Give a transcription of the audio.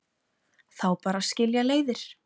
Þá bara skilja leiðir